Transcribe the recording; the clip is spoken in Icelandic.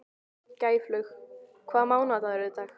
Gæflaug, hvaða mánaðardagur er í dag?